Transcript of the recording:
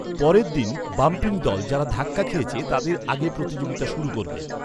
পরের দিন, বাম্পিং দল, যারা ধাক্কা খেয়েছে, তাদের আগে প্রতিযোগিতা শুরু করবে।